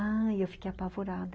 Ah, eu fiquei apavorada.